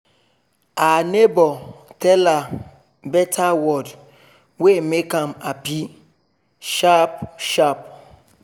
e begin dey chop first and get better sleep make e fit keep e mind and body active